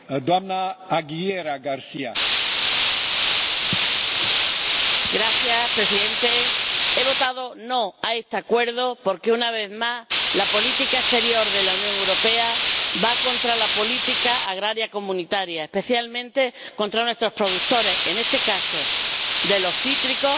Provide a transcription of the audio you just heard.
Señor Presidente, he votado no a este Acuerdo porque, una vez más, la política exterior de la Unión Europea va contra la política agraria comunitaria, especialmente contra nuestros productores, en este caso, de los cítricos.